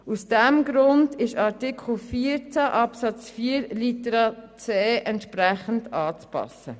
Aus diesem Grund ist Artikel 14 Absatz 4 Buchstabe c entsprechend anzupassen.